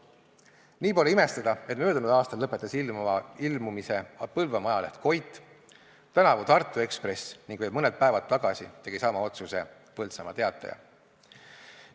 Nii pole imestada, et möödunud aastal lõpetas ilmumise Põlvamaa ajaleht Koit, tänavu Tartu Ekspress ning veel mõned päevad tagasi tegi sama otsuse Põltsamaa Teataja.